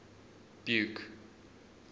buke